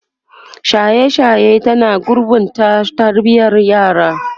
shaye shaye ta na gurɓata tarbiyan yara